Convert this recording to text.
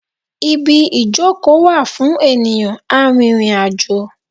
Ibi ìjókòó wà fún ènìyàn arìnrìn-àjò.